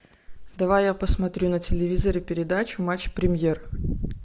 давай я посмотрю на телевизоре передачу матч премьер